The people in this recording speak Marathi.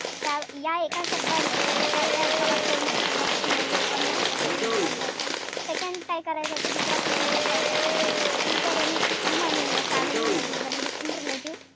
त्या या एका शब्दाने एका या एका वाक्याने दहा पैकी नऊ लोकांना त्याच्यावर विश्वास व्हायचा. Second काय करायचा तो दुसरा प्रश्न त्याचा असायचा कि is there any woman in your family maybe even a distant relative,